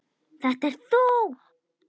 Þetta ert þú!